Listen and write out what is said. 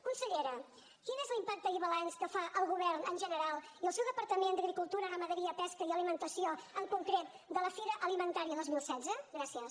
consellera quin és l’impacte i balanç que fa el govern en general i el seu departament d’agricultura ramaderia pesca i alimentació en concret de la fira alimentaria dos mil setze gràcies